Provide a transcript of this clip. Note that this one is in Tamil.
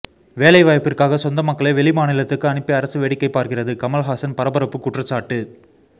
வேலைவாய்ப்பிற்காக சொந்த மக்களை வெளி மாநிலத்துக்கு அனுப்பி அரசு வேடிக்கை பார்க்கிறது கமல்ஹாசன் பரபரப்பு குற்றச்சாட்டு